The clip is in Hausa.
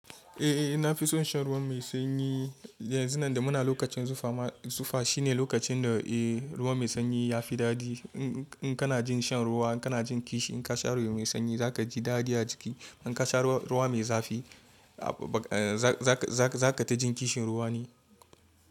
Eh, eh na fi son shan ruwa mai sanyi. Yanzu nan da muna lokacin zufa ma, zufa shine lokacin da eh ruwa mai sanyi yafi daɗi. In kana jin shan ruwa, in kana jin kishi in ka sha ruwa mai sanyi za kaji daɗi a jiki. In ka sha ruwa mai zafi a ba za-za-za ka ta jin kishin ruwa ne.